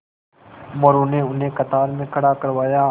मोरू ने उन्हें कतार में खड़ा करवाया